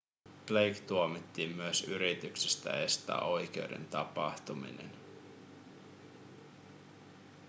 blake tuomittiin myös yrityksestä estää oikeuden tapahtuminen